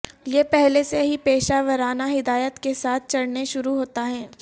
یہ پہلے سے ہی پیشہ ورانہ ہدایات کے ساتھ چڑھنے شروع ہوتا ہے